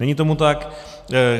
Není tomu tak.